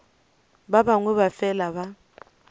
ba bangwe ba fela ba